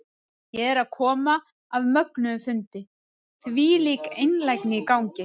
Ég er að koma af mögnuðum fundi, þvílík einlægni í gangi.